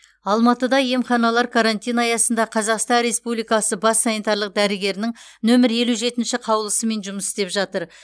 алматыда емханалар карантин аясында қазақстан республикасы бас санитарлық дәрігерінің нөмір елу жетінші қаулысымен жұмыс істеп жатыр